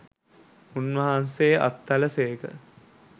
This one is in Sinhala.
උන්වහන්සේ අත්හළ සේක.